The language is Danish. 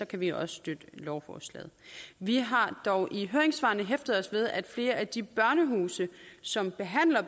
kan vi også støtte lovforslaget vi har dog i høringssvarene hæftet os ved at flere af de børnehuse som behandler